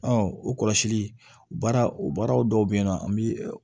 o kɔlɔsili o baara o baara dɔw be yen nɔ an bi